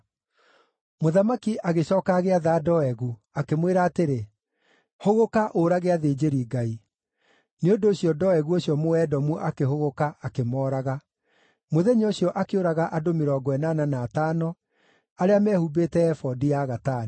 Mũthamaki agĩcooka agĩatha Doegu, akĩmwĩra atĩrĩ, “Hũgũka ũũrage athĩnjĩri-Ngai.” Nĩ ũndũ ũcio Doegu ũcio Mũedomu akĩhũgũka akĩmooraga. Mũthenya ũcio akĩũraga andũ mĩrongo ĩnana na atano arĩa meehumbĩte ebodi ya gatani.